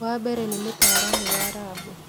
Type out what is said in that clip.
Wa mbere nĩ mũtaaramũ wa rabu